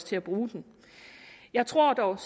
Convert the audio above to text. til at bruge den jeg tror dog at